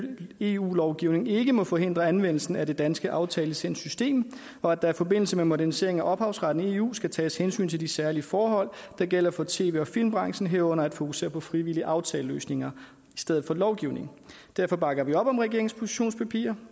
eu lovgivning ikke må forhindre anvendelsen af det danske aftalelicenssystem og at der i forbindelse med modernisering af ophavsretten i eu skal tages hensyn til de særlige forhold der gælder for tv og filmbranchen herunder at fokusere på frivillige aftaleløsninger i stedet for lovgivning derfor bakker vi op om regeringens positionspapir